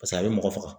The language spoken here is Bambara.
Paseke a bɛ mɔgɔ faga